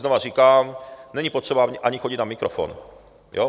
Znovu říkám, není potřeba ani chodit na mikrofon.